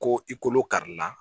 Ko i kolo kari la